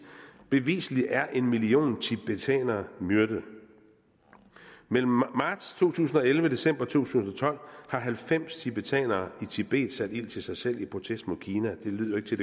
bevislig er en million tibetanere myrdet mellem marts to tusind og elleve og december to tusind og tolv har halvfems tibetanere i tibet sat ild til sig selv i protest mod kina det lyder ikke til